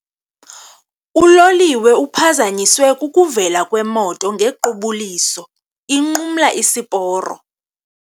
Uloliwe uphazanyiswe kukuvela kwemoto ngequbuliso inqumla isiporo.